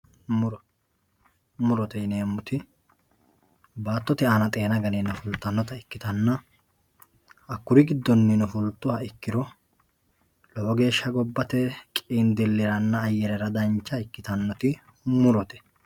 muro murote yineemmoti baattote aana xeena ganeenna fultannota ikkitanna hakkuri giddonnino fultuha ikkiro lowo geeshsha gobbate qiindilliranna ayyerera dancha ikkitannoti murote.